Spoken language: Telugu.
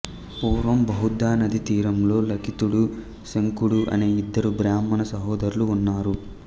పూర్వం బహుదానదీ తీరంలో లిఖితుడు శంఖుడు అనే ఇద్దరు బ్రాహ్మణ సహోదరులు ఉన్నారు